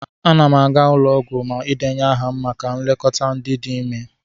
Ana n aga ụlọ ọgwụ idenye ahụ maka nlekọta ndị dị ime.